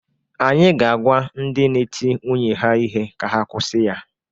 Anyị ga-agwa ndị na-eti nwunye ha ihe ka ha kwusi ya.